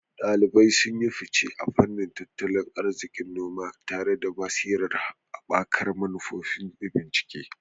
Daliban sun yi fice a fannin tattalin arzikin noma, tare da basirar haɓaka manufofi da bincike.